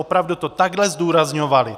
Opravdu to takhle zdůrazňovali.